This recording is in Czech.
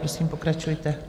Prosím, pokračujte.